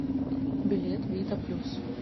билет вита плюс